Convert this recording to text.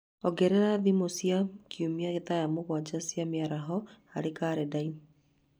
Ongerera thimũ cia o kiumia thaa mũgwanja cia mĩaraho harĩ kalendarĩ